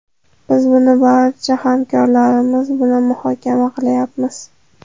Biz buni barcha hamkorlarimiz bilan muhokama qilyapmiz.